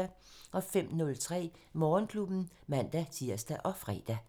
05:03: Morgenklubben (man-tir og fre)